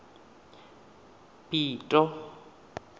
pito